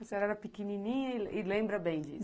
A senhora era pequenininha e e lembra bem disso?